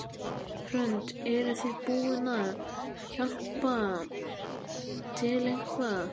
Hrund: Eruð þið búin að hjálpa til eitthvað?